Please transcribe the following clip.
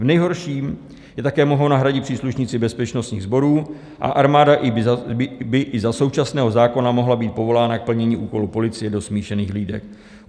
V nejhorším je také mohou nahradit příslušníci bezpečnostních sborů a armáda by i za současného zákona mohla být povolána k plnění úkolů policie do smíšených hlídek.